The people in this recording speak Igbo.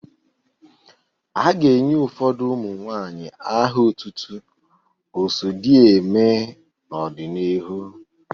A ga-enye ụfọdụ ụmụ nwanyị aha otutu 'Oso di eeme' n'ọdịnihu.